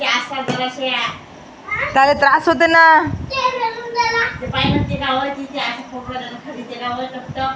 काय तरी त्रास होतेला --